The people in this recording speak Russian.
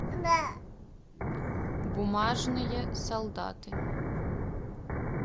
бумажные солдаты